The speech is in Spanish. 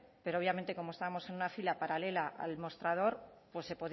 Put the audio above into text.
pero obviamente como estábamos en una fila paralela al mostrador pues se